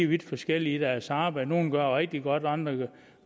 vidt forskellige i deres arbejde nogle gør det rigtig godt andre